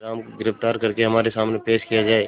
तेनालीराम को गिरफ्तार करके हमारे सामने पेश किया जाए